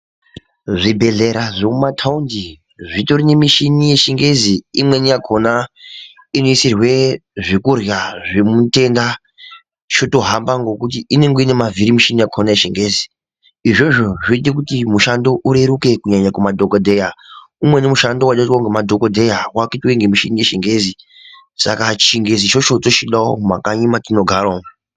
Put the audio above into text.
Zvibhehlera zvemumataundi zvitori nemishini yechingezi imweni yakona inoisirwe zvekurya zvemutenda chotohamba ngekuti inonge inemavhiri mishini yakona yechingezi izvozvo zvoite kuti mushando urereruke kunyanaya kumadhokodheya umweni mushando waide kuitwa ngemadhokodheya wakuitwe ngemichini yechingezi saka chingezi ichocho tochidawo mumakanyi metinogara umwu.